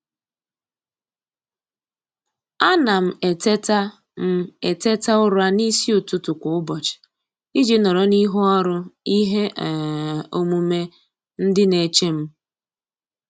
A na m eteta m eteta ụra n'isi ụtụtụ kwa ụbọchị iji nọrọ n'ihu ọrụ ihe um omume ndị na-eche m.